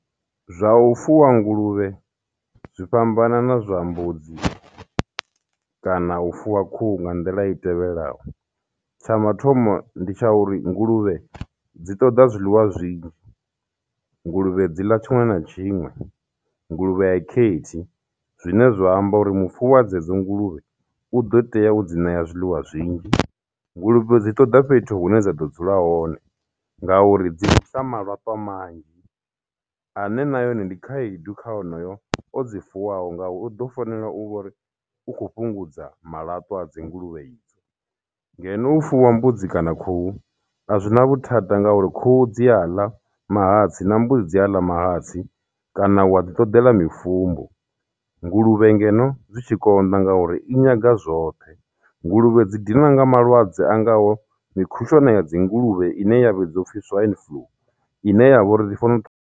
Zwa u fuwa nguluvhe zwi fhambana na zwa mbudzi kana u fuwa khuhu nga nḓila i tevhelaho. Tsha mathomo ndi tsha uri nguluvhe dzi ṱoḓa zwiḽiwa zwinzhi, nguluvhe dzi ḽa tshiṅwe na tshiṅwe, nguluvhe a i khethi, zwine zwa amba uri mufuwi wa dzedzo nguluvhe u ḓo tea u dzi ṋea zwiḽiwa zwinzhi. Nguluvhe dzi ṱoḓa fhethu hune dza ḓo dzula hone ngauri dzi bvisa malaṱwa manzhi ane nayone ndi khaedu kha onoyo o dzi fuwaho nga u u ḓo fanela u vhori u kho fhungudza malatwa a dzinguluvhe idzo. Ngeno u fuwa mbudzi kana khuhu a zwi na vhuthada ngauri khuhu dzi a ḽa mahatsi na mbudzi i a ḽa mahatsi, kana wa ḓi ṱoḓela mifumbu. Nguluvhe ngeno zwi tshi konḓa ngauri i nyaga zwoṱhe. Nguluvhe dzi dinwa na nga malwadze a ngaho mikhushwane ya dzinguluvhe ine ya vhidziwa uphi swine flu, ine ya vha uri ndi fanela u .